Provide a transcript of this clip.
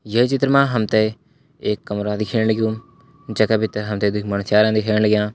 ये चित्र मा हम त एक कमरा दिखेण लग्युं जै का भीतर हम त दिखेण लग्यां।